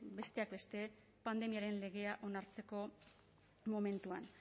besteak beste pandemiaren legea onartzeko momentuan